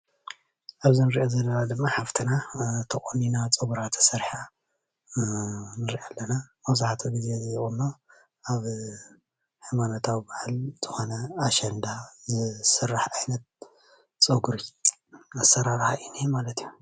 ኣብዚ እንሪኦ ዘለና ድማ ሓፍትና ተቆኒና ፀጉራ ተሰሪሓ ንሪኣ ኣለና፡፡ መብዛሕትኡ ግዜ ቁኖ ኣብ ሃይማኖታዊ በዓል ዝኮነ ኣሸንዳ ዝስራሕ ዓይነት ፀጉሪ ኣሰራርሓ እዩ እንአ ማለት እዩ ፡